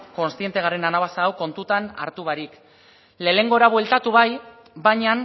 konsziente garen anabasa hau kontuan hartu barik lehengora bueltatu bai baina